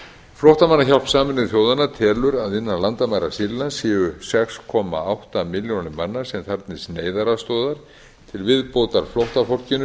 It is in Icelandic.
flóttamannahjálp sameinuðu þjóðanna telur að innan landamæra sýrlands séu sex komma átta milljónir manna sem þarfnist neyðaraðstoðar til viðbótar flóttafólkinu